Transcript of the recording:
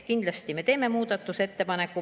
Kindlasti me teeme muudatusettepaneku.